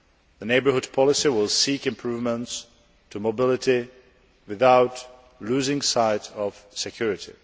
The Neighbourhood Policy will seek improvements to mobility without losing sight of security.